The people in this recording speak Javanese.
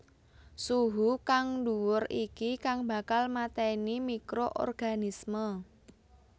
Suhu kang dhuwur iki kang bakal mateni microorganisme